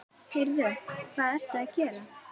Heyrðu. hvað ertu að gera?